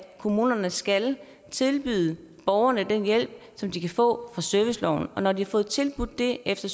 kommunerne skal tilbyde borgerne den hjælp som de kan få serviceloven når de har fået tilbudt det efter